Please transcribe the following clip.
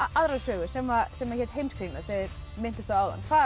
aðra sögu sem sem hét Heimskringla sem þið minntust á áðan hvað